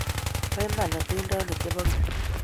Poiman atindonik che po keny.